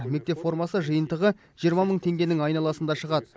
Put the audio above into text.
мектеп формасы жиынтығы жиырма мың теңгенің айналасында шығады